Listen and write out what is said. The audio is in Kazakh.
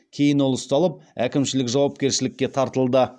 кейін ол ұсталып әкімшілік жауапкершілікке тартылды